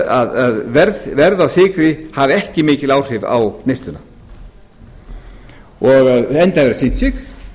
að verð á sykri hafi ekki mikil áhrif á neysluna enda hefur það sýnt sig